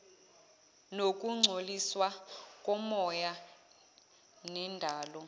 nokungcoliswa komoya nendalo